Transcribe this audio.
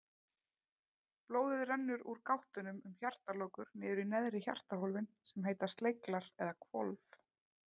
Blóðið rennur úr gáttunum um hjartalokur niður í neðri hjartahólfin sem heita sleglar eða hvolf.